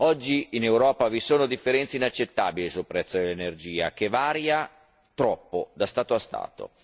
Oggi in Europa vi sono differenze inaccettabili sul prezzo dell'energia, che varia troppo da Stato a Stato.